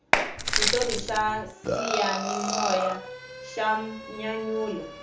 xitori xa xiyanimoya xa nyanyula